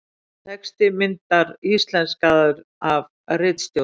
Texti myndar íslenskaður af ritstjórn.